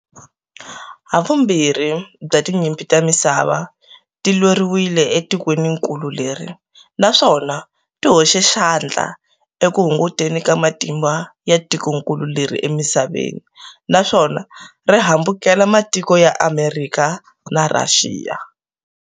Hivumbirhi bya Tinyimpi ta misava, ti lweriwile etikweninkulu leri, naswona tihoxe xandla eku hungutekeni ka matimba ya tikonkulu leri emisaveni, naswona rihambukela matiko ya Amerikha na Rhaxiya.